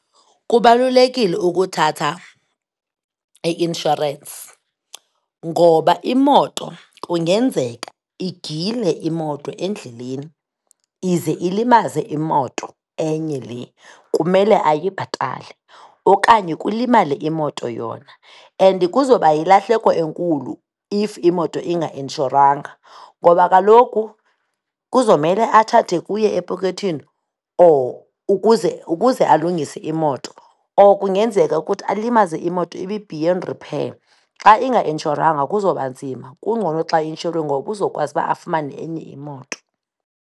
Kubalulekile ukuthatha i-inshorensi, ngoba imoto kungenzeka igile imoto endleleni, ize ilimaze imoto enye le kumele ayibhatale, okanye kulimale imoto yona. And kuzoba yilahleko enkulu if imoto inga inshorwanga ngoba kaloku kuzomele athathe kuye epokothweni or ukuze alungise imoto or kungenzeka ukuthi alimaze imoto ibe beyond repair. Xa inga inshorwanga kuzoba nzima, kungcono xa i-inshoriwe ngoba uzokwazi ukuba afumane enye imoto.